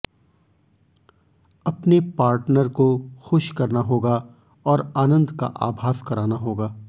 अपने पार्टनर को खुश करना होगा और आनंद का आभास कराना होगा